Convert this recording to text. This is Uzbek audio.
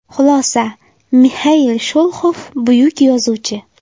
Xulosa Mixail Sholoxov buyuk yozuvchi.